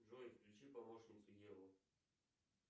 джой включи помощницу еву